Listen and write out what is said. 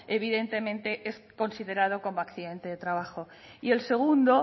evidentemente es considerado como accidente de trabajo y el segundo